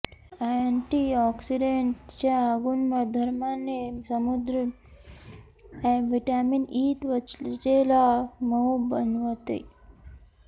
anti oxidant च्या गुणधर्माने समृद्ध व्हिटॅमिन ई त्वचेला मऊ बनवतं